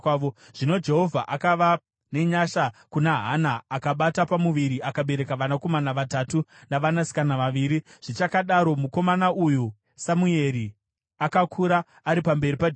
Zvino Jehovha akava nenyasha kuna Hana; akabata pamuviri akabereka vanakomana vatatu navanasikana vaviri. Zvichakadaro, mukomana uyu Samueri akakura ari pamberi paJehovha.